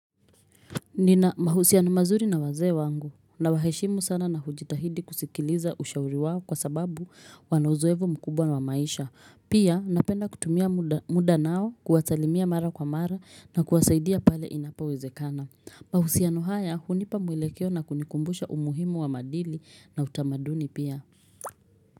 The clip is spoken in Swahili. Nina mahusiano mazuri na wazee wangu nawaheshimu sana na hujitahidi kusikiliza ushauri wao kwa sababu wana uzeofu mkubwa na wa maisha. Pia napenda kutumia muda nao kuwasalimia mara kwa mara na kuwasaidia pale inapowezekana. Mahusiano haya hunipa mwelekeo na kunikumbusha umuhimu wa maadili na utamaduni pia.